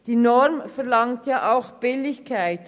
Die Norm verlangt auch Billigkeitshaftung;